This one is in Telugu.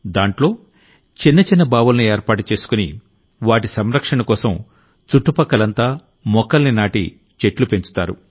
దాంట్లో చిన్న చిన్న బావుల్ని ఏర్పాటు చేసుకుని వాటి సంరక్షణకోసం చుట్టుపక్కలంతా మొక్కల్ని నాటి చెట్లు పెంచుతారు